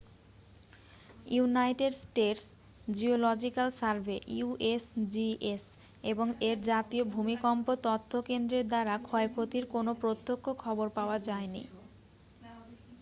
United states geological survey usgs এবং এর জাতীয় ভূমিকম্প তথ্য কেন্দ্রের দ্বারা ক্ষয়ক্ষতির কোনও প্রত্যক্ষ খবর পাওয়া যায়নি।